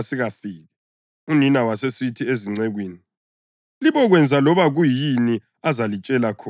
Unina wasesithi ezincekwini, “Libokwenza loba kuyini azalitshela khona.”